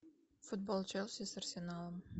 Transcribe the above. футбол челси с арсеналом